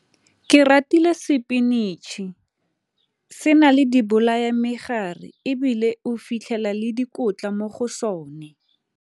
Ke ratile spinatšhe se na le di bolaya-megare ebile o fitlhela le dikotla mo go sone.